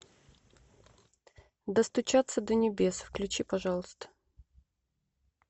достучаться до небес включи пожалуйста